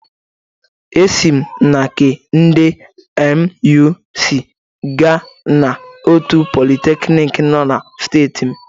Esi m na nke ndị NUC gaa na otu politeknik nọ na steeti m.